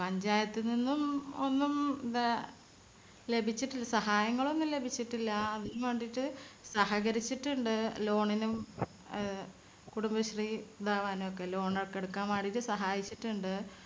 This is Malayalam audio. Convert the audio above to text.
പഞ്ചായത്തിൽ നിന്നും ഒന്നും വേ ലഭിച്ചിട്ടില്ല സഹായങ്ങളൊന്നും ലഭിച്ചിട്ടില്ല. അതിനുംവേണ്ടിട്ട് സഹകരിച്ചിട്ടുണ്ട്. loan നും അഹ് കുടുംബശ്രീ ഇതാവാനും ഒക്കെ loan ഒക്കെ എടുക്കാൻ വേണ്ടിട്ട് സഹായിച്ചിട്ടുണ്ട്.